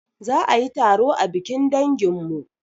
Za ayi taro a bikin danginmu